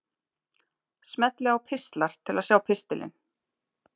Smellið á Pistlar til að sjá pistilinn.